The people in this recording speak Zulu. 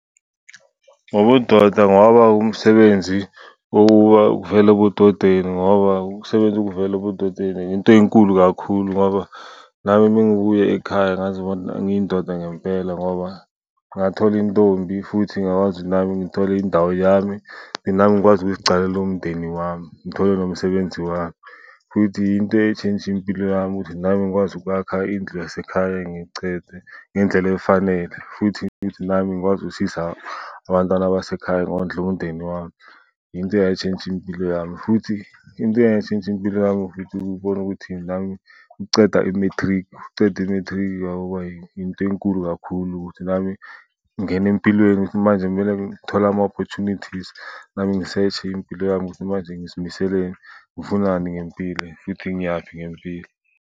ngobudoda ngoba umsebenzi uvela ebudodeni ngoba ukusebenza kuvela ebudodeni into enkulu kakhulu ngoba nami mengibuya ekhaya ngazibona ngiyindoda ngempela ngoba ngathola intombi. Futhi ngakwazi ukuthi nami ngithole indawo yami, nami ngikwazi ukuzicalela umndeni wami ngithole nomsebenzi wami. Futhi into eshintshe impilo yami ukuthi nami ngikwazi ukwakha indlu yasekhaya ngiyicede ngendlela efanele, futhi nami ngikwazi ukusiza abantwana basekhaya ngondle umndeni wami. Yinto eyatshintsha impilo yami. Futhi into eyashintsha impilo yami futhi ukubona ukuthi nami ngiceda i-matric. Ukuceda i-matric kwaba yinto enkulu kakhulu ukuthi nami ngingena empilweni ukuthi manje kumele ngikhole ama-opportunities nami ngi-search-e impilo yami ukuthi manje ngizimiseleni, ngifunani ngempilo futhi ngiyaphi ngempilo.